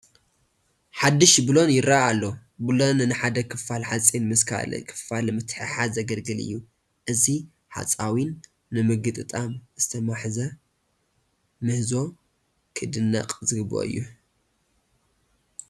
ሓዱሽ ቡለን ይርአ ኣሎ፡፡ ቡለን ንሓደ ክፋል ሓፂን ምስ ካልእ ክፋል ንምትሕሓዝ ዘግልግል እዩ፡፡ እዚ ሓፃዊን ንምግጥጣም ዝተማህዘ ምህዞ ክድነቕ ዝግብኦ እዩ፡፡